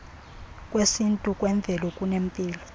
kwesintu kwemveli kunempilo